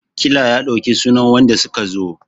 ƙila ya ɗauki sunan wanda suka zo!